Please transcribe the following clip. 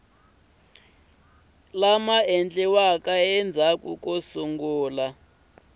lama endliweke endzhaku ko sungula